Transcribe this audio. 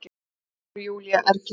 hváir Júlía ergileg.